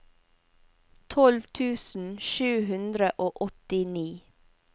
tolv tusen sju hundre og åttini